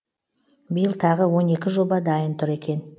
биыл тағы он екі жоба дайын тұр екен